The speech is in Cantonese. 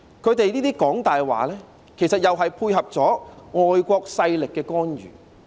他們這樣"講大話"，其實又是配合外國勢力的干預。